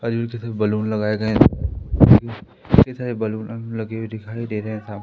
आजू बाजू सब बैलून लगाए गए हैं इतने सारे बैलून लगे हुए दिखाई दे रहे हैं। साम--